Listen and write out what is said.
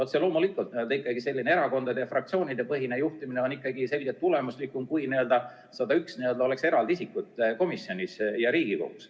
Otse loomulikult on selline erakondade- ja fraktsioonidepõhine juhtimine selgelt tulemuslikum kui siis, kui oleks 101 eraldi isikut komisjonis ja Riigikogus.